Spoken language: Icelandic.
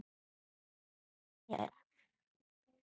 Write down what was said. Það yljaði mér.